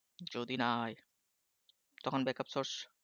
যদি না হয়, তখন backup source